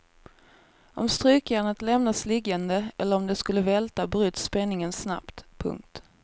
Om strykjärnet lämnas liggande eller om det skulle välta bryts spänningen snabbt. punkt